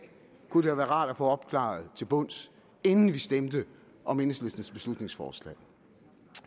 kunne det være rart at få opklaret til bunds inden vi stemmer om enhedslistens beslutningsforslag